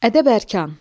Ədəb-ərkan.